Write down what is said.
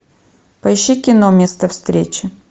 поищи кино место встречи